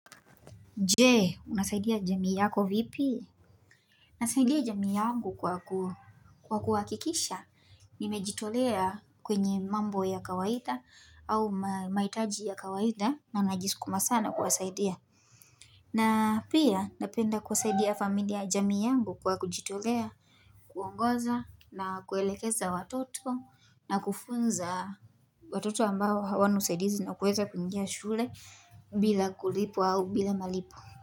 Jee unasaidia jamii yako vipi Nasaidia jamii yangu kwa kuhakikisha Nimejitolea kwenye mambo ya kawaita au maitaji ya kawaita na najiskuma sana kuasaidia na pia napenda kuasaidia familia jamii yangu kwa kujitolea kuongoza na kuelekeza watoto na kufunza watoto ambao hawa nusaidizi na kuweza pinjia shule bila kulipu au bila malipu.